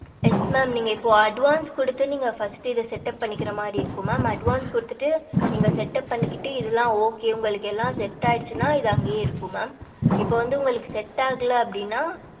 yes mam நீங்க இப்போ advance கொடுத்து நீங்க first இதே set up பண்ணிக்கிற மாரி இருக்கு mam advance கொடுத்துட்டு நீங்க set up பண்ணிக்கிட்டு இதெல்லாம் okay உங்களுக்கு எல்லாம் set ஆயிடுச்சுன்னா இது அங்கேயே இருக்கும் mam இப்ப வந்து உங்களுக்கு set ஆகல அப்படின்னா